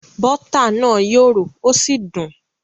Bọ́tà náà yòrò ó sì dùn